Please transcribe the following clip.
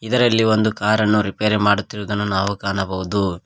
ಇದರಲ್ಲಿ ಒಂದು ಕಾರನ್ನು ರಿಪೇರಿ ಮಾಡುತ್ತಿರುವುದನ್ನು ನಾವು ಕಾಣಬಹುದು.